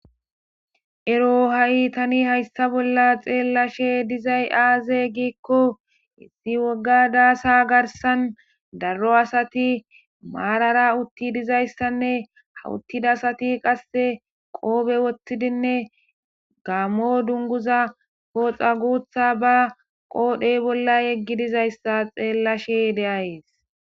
Ero ha7i tani hayssa bolla xeellashe dizay aaze giikko hissi wogga daasa garsan darro asati maarara utti dizayssanne hawuttida asati qasse qoobe wottidinne gammo dunguza pooxa guutha ba qoodhey bolla yeggi dizayssa xeellashe deayees.